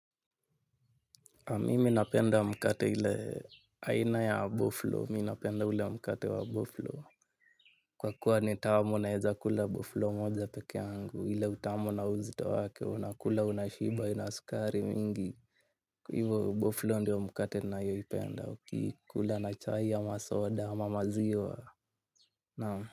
A miminapenda mkate ile aina ya bofloo, minapenda ule mkate wa bofloo. Kwa kuwa ni tamu naeza kula bofloo moja peke angu, hile utamu na uzito wake, unakula, unashiba, ina skari mingi. Kwa hivo bofloo ndiyo mkate nayoipenda, ukikula na chai ama soda, ama maziwa, naam.